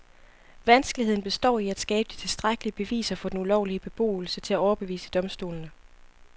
Vanskeligheden består i at skabe de tilstrækkelige beviser for den ulovlige beboelse til at overbevise domstolene.